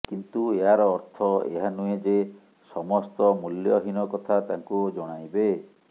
କିନ୍ତୁ ଏହାର ଅର୍ଥ ଏହା ନୁହେଁ ଯେ ସମସ୍ତ ମୂଲ୍ୟହୀନ କଥା ତାଙ୍କୁ ଜଣାଇବେ